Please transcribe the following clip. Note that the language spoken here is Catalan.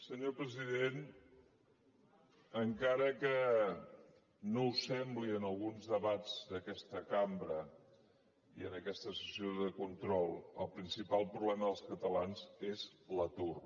senyor president encara que no ho sembli en alguns debats d’aquesta cambra i en aquesta sessió de control el principal problema dels catalans és l’atur